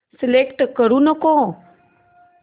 select करू नको